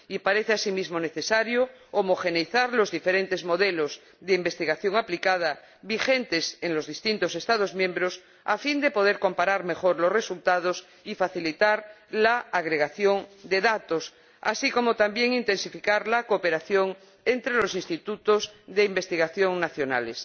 Y parece asimismo necesario homogeneizar los diferentes modelos de investigación aplicada vigentes en los distintos Estados miembros, a fin de poder comparar mejor los resultados y facilitar la agregación de datos, así como intensificar la cooperación entre los institutos de investigación nacionales.